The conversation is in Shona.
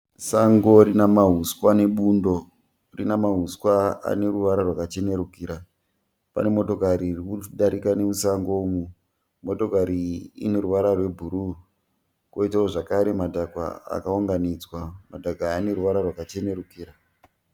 Sango rinahuswa nebundo. Rinamahuswa aneruvara rwakachenerukira. Pane motokari irikudarika nemusango umu. Motokari iyi ineruvara rwebhuruwu. Koitawo zvekare madhaka akaunganidzwa, madhaka aya aneruvara rwakachenurukira.